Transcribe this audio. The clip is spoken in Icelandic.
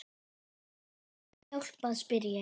Get ég hjálpað spyr ég.